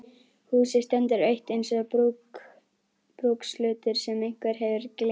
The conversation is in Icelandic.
Húsið stendur autt eins og brúkshlutur sem einhver hefur gleymt.